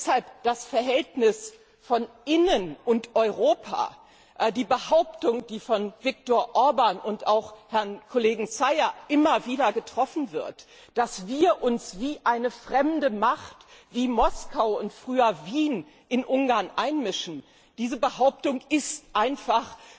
Deshalb Das Verhältnis zwischen Inneren Angelegenheiten und Europa, die Behauptung, die von Viktor Orbán und auch Herrn Kollegen Szájer immer wieder vorgebracht wird, dass wir uns wie eine fremde Macht, wie Moskau und früher Wien, in Ungarn einmischen, diese Behauptung ist einfach